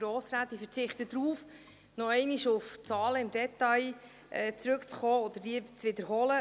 Ich verzichte darauf, noch einmal im Detail auf die Zahlen zurückzukommen oder diese zu wiederholen.